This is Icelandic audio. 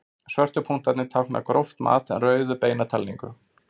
Svörtu punktarnir tákna gróft mat en rauðu beina talningu.